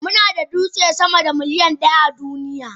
Muna da dutse sama da miliyan ɗaya a duniya.